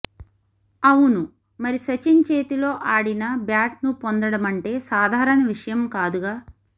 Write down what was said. అవును మరి సచిన్ చేతిలో ఆడిన బ్యాట్ ను పొందడమంటే సాధారణ విషయం కాదుగా